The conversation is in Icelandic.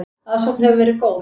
Aðsókn hefur verið góð.